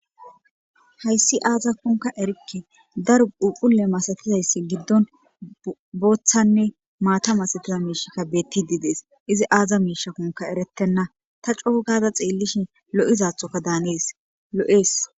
hayssi aazakonka erikke, daro phuphphule masatizaysa giddon booththanne maata masitiza miishakka betides, izi aza miishakonka eretenna, ta coo gaada xeellishin lo'izathokka daanees lo'es.